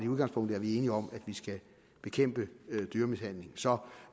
udgangspunkt er enige om at vi skal bekæmpe dyremishandling så